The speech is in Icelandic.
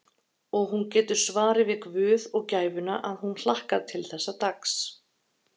Og hún getur svarið við guð og gæfuna að hún hlakkar til þessa dags.